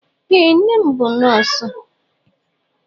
Ee, nne m bụ nọọsụ.